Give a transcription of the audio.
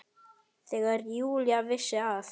Þegar Júlía vissi að